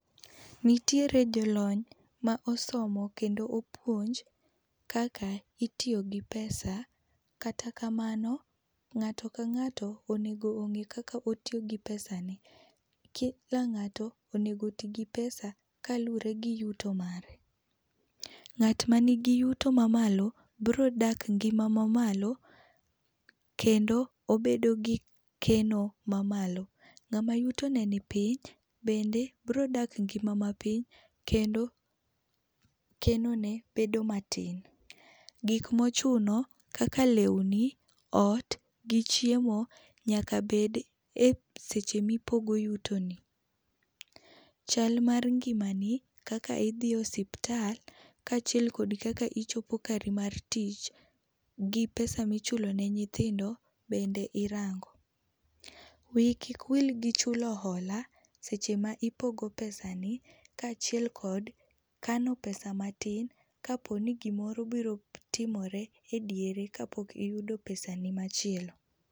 Nitiere jolony ma osomo kendo opuonj kaka itiyo gi pesa. Kata kamano, ng'ato ka ng'ato onego ong'e kaka otiyo gi pesane. Ki ka ng'ato onego oti gi pesa kaluwore gi yuto mare. Ng'at mani gi yuto mamalo, birodak e ngima mamalo, kendo obedo gi keno mamalo. Ng'ama yuto ne nipiny bende birodak e ngima mapiny kendo kenone bedo matin. Gik mochuno kaka, lewni, ot gi chiemo nyaka bed eseche mipogo yutoni. Chal mar ngimani, kaka idhi e osiptal, kaachiel kod kaka ichopo kari mar tich, gi pesa michulo ne nyithindo bende irango. Wiyi kik wil gi chulo hola seche ma ipogo pesani kaachiel kod kano pesa matin kapo ni gimoro biro tim ore ediere kapok iyudo pesani machielo.